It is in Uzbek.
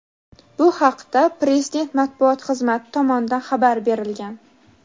Bu haqda Prezident matbuot xizmati tomonidan xabar berilgan.